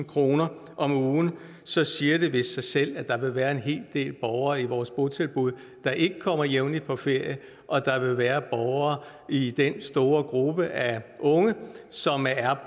kroner om ugen så siger det vist sig selv at der vil være en hel del borgere i vores botilbud der ikke kommer jævnligt på ferie og at der vil være borgere i den store gruppe af unge som er